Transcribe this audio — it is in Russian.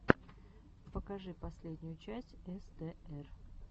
покажи последнюю часть эстээр